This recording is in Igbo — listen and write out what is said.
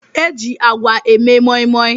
E ji àgwà eme moi moi.